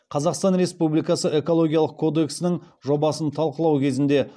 қазақстан республикасы экологиялық кодексінің жобасын талқылау кезінде